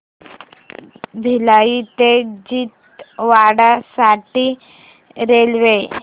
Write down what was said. भिलाई ते छिंदवाडा साठी रेल्वे